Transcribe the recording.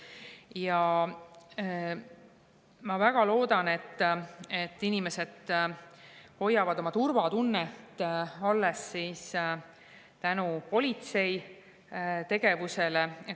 Ja ma väga loodan, et inimestele turvatunne alles tänu politsei tegevusele.